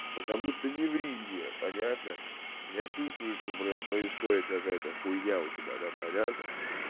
потому что не ври мне понятно я чувствую что блядь происходит какая-то хуйня у тебя там понятно